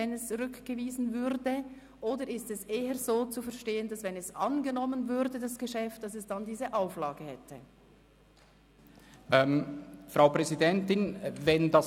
Oder ist es eher so zu verstehen, dass das Geschäft eine Auflage hätte, falls es angenommen würde?